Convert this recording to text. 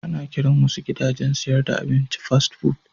Ana kiran wasu gidajen sayar da abinci Fast food.